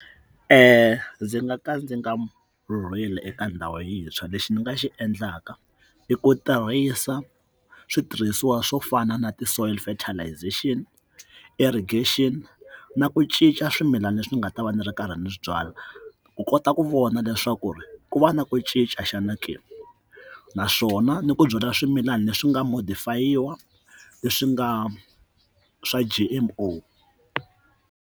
Ndzi nga ka ndzi nga rhurhela eka ndhawu yintshwa lexi ni nga xi endlaka i ku tirhisa switirhisiwa swo fana na ti-soil fertilization irrigation na ku cinca swimilana leswi nga ta va ni ri karhi ni swi byala ku kota ku vona leswaku ku va na ku cinca xana ke naswona ni ku byala swimilana leswi nga modifayiniwa leswi nga swa G_M_O.